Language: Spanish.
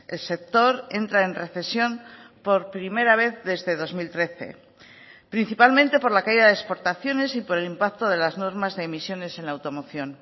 el sector entra en recesión por primera vez desde dos mil trece principalmente por la caída de exportaciones y por el impacto de las normas de emisiones en la automoción